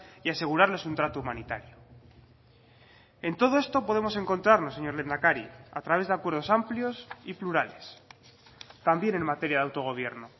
y asegurarles un trato humanitario en todo esto podemos encontrarlo señor lehendakari a través de acuerdos amplios y plurales también en materia de autogobierno